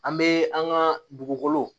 An bɛ an ka dugukolo